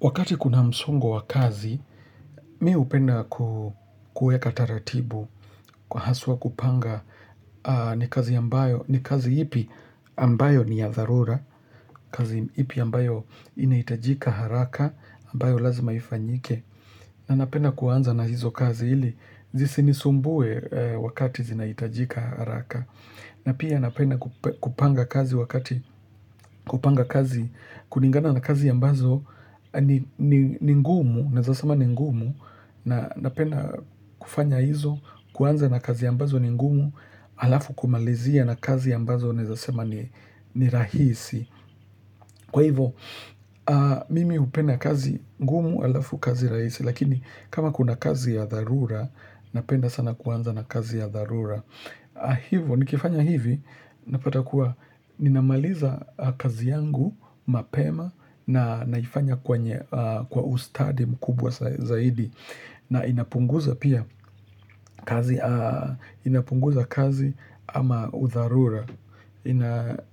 Wakati kuna msongo wa kazi, mi hupenda kueka taratibu kwa haswa kupanga ni kazi ambayo, ni kazi ipi ambayo ni ya dharura, kazi ipi ambayo inaitajika haraka, ambayo lazima ifanyike. Na napenda kuanza na hizo kazi hili, zisinisumbue wakati zinaitajika haraka. Na pia napenda kupanga kazi wakati, kupanga kazi, kulingana na kazi ambazo ni ngumu, naeza sama ni ngumu, napenda kufanya hizo, kuanza na kazi ambazo ni ngumu, alafu kumalizia na kazi ambazo naeza sema ni rahisi. Kwa hivyo, mimi hupenda kazi ngumu alafu kazi raisi, lakini kama kuna kazi ya dharura, napenda sana kuanza na kazi ya dharura. Hivyo, nikifanya hivi, napata kuwa, ninamaliza kazi yangu, mapema, na naifanya kwa ustadi mkubwa zaidi. Na inapunguza pia kazi, inapunguza kazi ama udharura.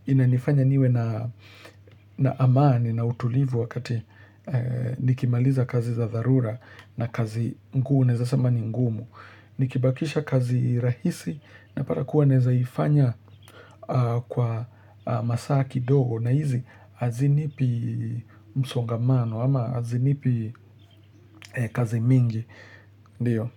Inanifanya niwe na amani na utulivu wakati nikimaliza kazi za dharura na kazi ngu naeza sema ni ngumu. Nikibakisha kazi rahisi napata kuwa naeza ifanya kwa masaa kidogo na hizi hazinipi msongamano ama hazinipi kazi mingi. Ndio.